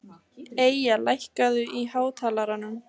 Eyja, lækkaðu í hátalaranum.